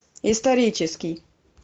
исторический